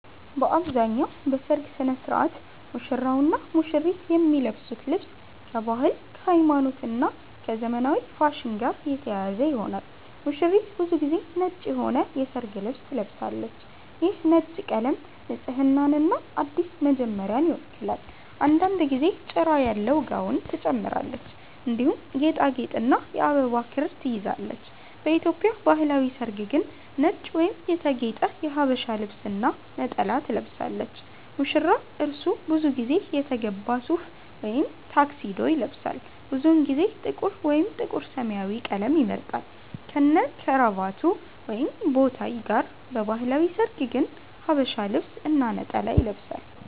በአብዛኛው በሠርግ ሥነ ሥርዓት ሙሽራውና ሙሽሪት የሚለብሱት ልብስ ከባህል፣ ከሃይማኖት እና ከዘመናዊ ፋሽን ጋር የተያያዘ ይሆናል። ሙሽሪት ብዙ ጊዜ ነጭ የሆነ የሠርግ ልብስ ትለብሳለች። ይህ ነጭ ቀለም ንጽህናንና አዲስ መጀመሪያን ይወክላል። አንዳንድ ጊዜ ጭራ ያለው ጋውን ትጨምራለች፣ እንዲሁም ጌጣጌጥና የአበባ ክር ትይዛለች። በኢትዮጵያ ባህላዊ ሠርግ ግን ነጭ ወይም የተጌጠ ሀበሻ ልብስ እና ነጠላ ትለብሳለች። ሙሽራ : እርሱ ብዙ ጊዜ የተገባ ሱፍ ወይም ታክሲዶ ይለብሳል። ብዙውን ጊዜ ጥቁር ወይም ጥቁር-ሰማያዊ ቀለም ይመርጣል፣ ከነክራቫት ወይም ቦታይ ጋር። በባህላዊ ሠርግ ግን ሐበሻ ልብስ እና ነጠላ ይለብሳል።